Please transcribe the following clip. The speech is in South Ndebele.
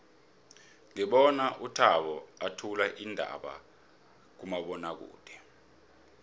ngibona uthabo uthula iindaba kumabonwakude